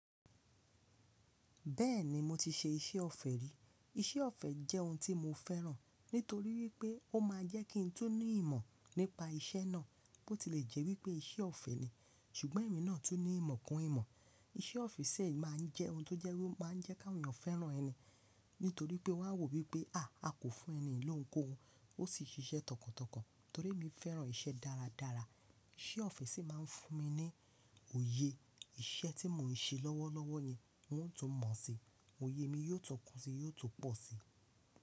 Bẹ́ẹ̀ni mo ti ṣe iṣẹ́ ọ̀fẹ́ rí. Iṣẹ́ ọ̀fẹ́ jẹ́ ohun tí mo fẹ́ràn. Nítorí wípé ó máa jẹ́ kí n tú ní ìmọ̀ nípa iṣẹ́ náà. Bo tilẹ̀ jẹ́ wípé iṣẹ́ ọ̀fẹ́ ni, ṣùgbọ́n ẹ̀mí náà tún ní ìmọ̀ kún ìmọ̀. Iṣẹ́ ọ́fe sì máa ń jẹ́ ohun tó jẹ́ wípé ó máa ń jẹ́ ká àwọn èèyàn fẹ́ràn ẹni. Nítorí pé wọ́n á wò wípé, à á kò fún ẹni lóhùn kóhun, ó sì ṣiṣẹ́ tọkàntọkàn. Torí mi fẹ́ràn iṣẹ́ dáradára, iṣẹ́ ọ́fe sì máa ń fún mi ní òye. Iṣẹ́ tí mò ń ṣe lọ́wọ́lọ́wọ́ yẹn mi ó tún mọ̀ si. Oyè mi yóò tún kún si, yóò tún pọ̀ si.